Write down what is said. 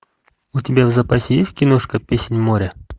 у тебя в запасе есть киношка песнь моря